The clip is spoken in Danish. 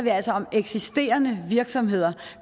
om eksisterende virksomheder og